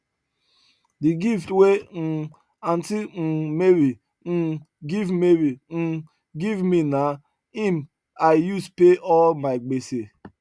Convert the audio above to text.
the gift wey um aunty um mary um give mary um give me nah him i use pay all my gbese